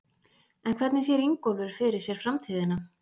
En hvernig sér Ingólfur fyrir sér framtíðina?